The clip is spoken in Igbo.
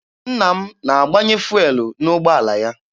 Nna m na-agbanye fụelụ n'ụgbọala ya.